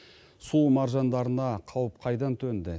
су маржандарына қауіп қайдан төнді